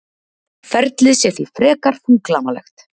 Ferlið sé því frekar þunglamalegt